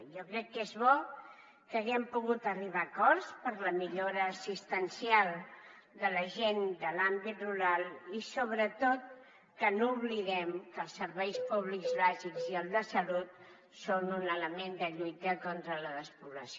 jo crec que és bo que haguem pogut arribar a acords per a la millora assistencial de la gent de l’àmbit rural i sobretot que no oblidem que els serveis públics bàsics i el de salut són un element de lluita contra la despoblació